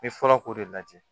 N bɛ fɔlɔ k'o de lajɛ